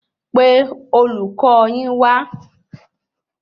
Pé olùkọ yin wa